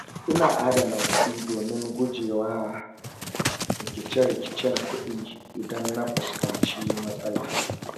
Ina adana kuɗi domin guje wa rikice-rikicen kuɗi idan na fuskanci matsala.